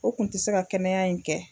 O kun tɛ se ka kɛnɛya in kɛ.